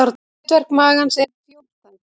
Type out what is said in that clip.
Hlutverk magans er fjórþætt.